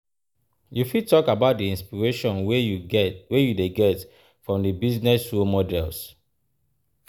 You fit talk about di inspiration wey you dey get from di business role models.